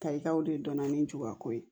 Tayigaw de dɔnna ni jubako ye